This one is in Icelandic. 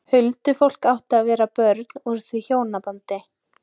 Huldufólk átti að vera börn úr því hjónabandi.